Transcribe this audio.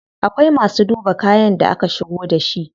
Akwai masu duba kayan da aka shigo da shi.